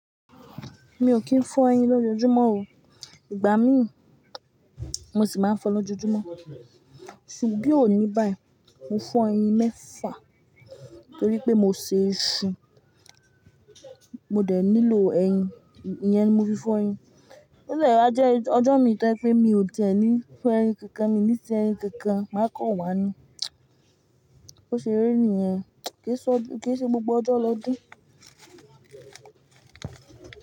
Mi ò kì í fọ ẹyin lójoójúmọ́ o. Ìgbà mí, mo sì máa ń fọ lójoójúmọ́. Bi oní báì, mo fọ ẹyin mẹ́fà torí pé mo ṣe iṣu, mo dẹ̀ nílò ẹyin, ìyẹn ni mo fi fọ ẹyin. Bí èèyàn bá jẹ́ ọjọ́ mi tẹ́ pé mi ò tẹ́lẹ̀ ní fọ ẹyin kankan, mi ní tẹ ẹyin kankan, màá kàn wá nu. Ó ṣe eré nìyẹn, kì í ṣe gbogbo ọjọ́ lọdún.